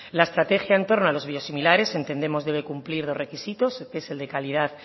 la estrategia en torno a los biosimiliares entendemos debe cumplir de dos requisitos el de calidad